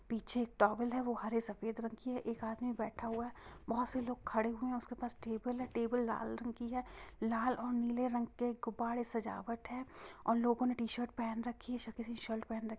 पीछे एक टॉवल है वो हरे सफेद रंग की है| एक आदमी बैठ हुआ है| बहुत से लोग खड़े हुए है। उसके पास टेबल है| टेबल लाल रंग की है| लाल और नीले रंग के गुब्बारे सजावट है| और लोगों ने टी-शर्ट पेहेन रखी है। स किसी ने शर्ट पेहेन रख--